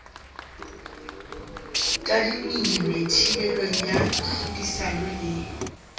tadimilwe thibelo ya tlhodisano le